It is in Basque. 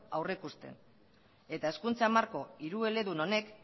aurrikusten eta hezkuntza marko hirueledun honek